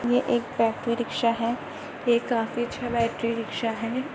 ये एक battery rickshaw है ये काफी अच्छा बैटरी रिक्शा है।